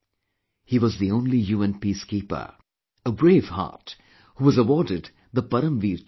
He was the only UN peacekeeper, a braveheart, who was awarded the Param Veer Chakra